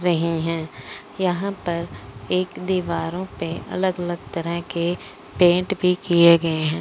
रहे हैं यहां पर एक दीवारों पे अलग अलग तरह के पेंट भी किए गए हैं।